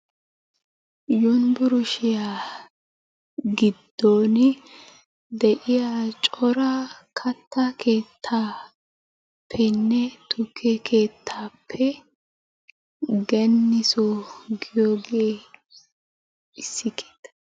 Yunbburshshiya giddon de'iya cora kattaa keettaappenne tukke keettappe Genisoo giyooge issi keettaa.